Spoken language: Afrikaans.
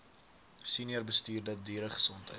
senior bestuurder dieregesondheid